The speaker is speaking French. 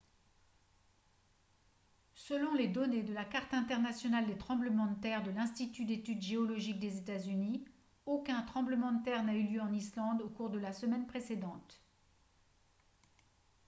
selon les données de la carte internationale des tremblements de terre de l'institut d'études géologiques des états-unis aucun tremblement de terre n'a eu lieu en islande au cours de la semaine précédente